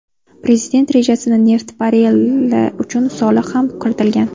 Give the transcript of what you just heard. Prezident rejasiga neft barreli uchun soliq ham kiritilgan.